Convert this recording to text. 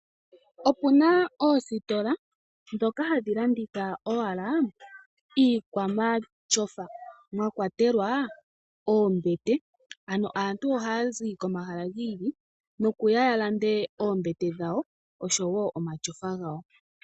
Opuna oositola ndhoka hadhi landitha owla iikwa matyofa , mwa kwa telwa oombete. Ano aantu ohaya zi komahala gi ili opo yalande oombete dhawo osho woo omatyofa gawo.